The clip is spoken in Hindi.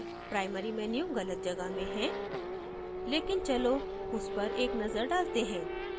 primary menu गलत जगह में है लेकिन चलो उस पर एक नजर डालते हैं